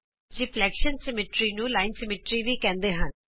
ਪ੍ਰਤਿਬਿੰਬ ਸਮਮਿਤੀ ਨੂੰਰਿਫਲੇਕਸ਼ਨ ਸਮੀਟਰੀ ਰੇਖਾ ਸਮਮਿਤੀ ਵੀ ਕਹਿੰਦੇ ਹਨ